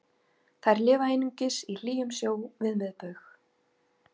þær lifa einungis í hlýjum sjó við miðbaug